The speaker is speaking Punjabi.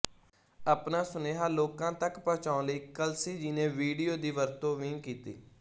ਆਪਣਾ ਸੁਨੇਹਾ ਲੋਕਾਂ ਤੱਕ ਪਹੁੰਚਾਉਣ ਲਈ ਕਲਸੀ ਜੀ ਨੇ ਵੀਡੀਓ ਦੀ ਵਰਤੋਂ ਵੀ ਕੀਤੀ